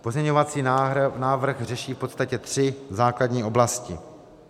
Pozměňovací návrh řeší v podstatě tři základní oblasti.